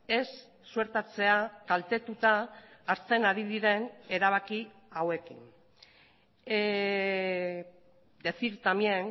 ez suertatzea kaltetuta hartzen ari diren erabaki hauekin decir también